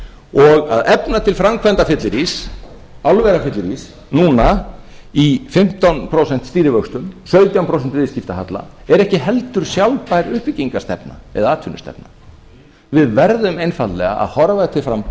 og að efna til framkvæmdafyllirís álverafyllirís núna í fimmtán prósent stýrivöxtum sautján prósent viðskiptahalla er ekki heldur sjálfbær uppbyggingarstefna eða atvinnustefna við verðum einfaldlega að horfa til